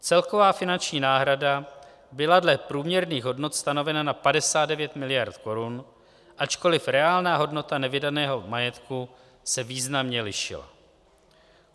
Celková finanční náhrada byla dle průměrných hodnot stanovena na 59 mld. korun, ačkoliv reálná hodnota nevydaného majetku se významně lišila.